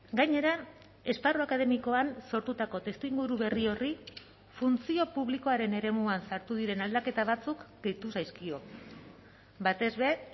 gainera esparru akademikoan sortutako testuinguru berri horri funtzio publikoaren eremuan sartu diren aldaketa batzuk gehitu zaizkio batez ere